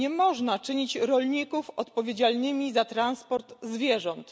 Nie można czynić rolników odpowiedzialnymi za transport zwierząt.